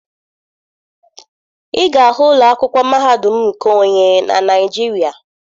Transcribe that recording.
Ị ga-ahụ ụlọ akwụkwọ mahadum nke onye na Naịjirịa.